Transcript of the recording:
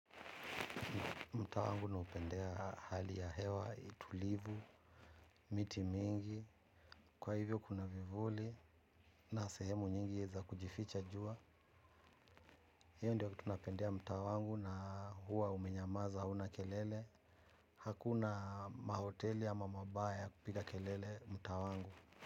Mtaa wangu naupendea hali ya hewa, itulivu, miti mingi, kwa hivyo kuna vivuli na sehemu nyingi za kujificha jua. Hiyo ndio kitu napendea mtaa wangu na huwa umenyamaza hauna kelele. Hakuna mahoteli ama mabaa ya kupika kelele mtaa wangu.